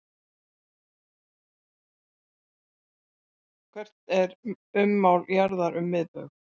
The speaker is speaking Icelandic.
Hvert er ummál jarðar um miðbaug?